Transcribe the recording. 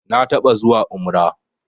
Na taɓa zuwa umrah